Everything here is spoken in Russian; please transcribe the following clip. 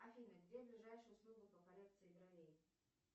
афина где ближайшая услуга по коррекции бровей